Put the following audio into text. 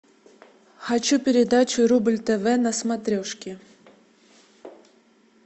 хочу передачу рубль тв на смотрешке